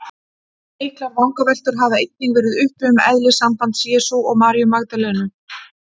Miklar vangaveltur hafa einnig verið uppi um eðli sambands Jesú og Maríu Magdalenu.